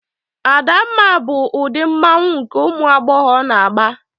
Adamma bụ ụdị mmanwụ nke ụmụ agbọghọ na-agba.